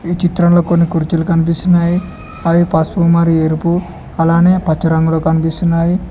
చిత్రంలో కొన్ని కుర్చీలు కనిపిస్తున్నాయి అవి పసుపు మరియు ఎరుపు అలానే పచ్చ రంగులో కనిపిస్తున్నాయి.